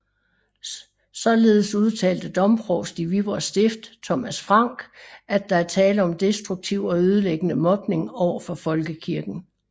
Således udtalte domprovst i Viborg Stift Thomas Frank at der er tale om destruktiv og ødelæggende mobning over for folkekirken